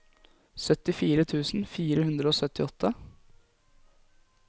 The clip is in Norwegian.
syttifire tusen fire hundre og syttiåtte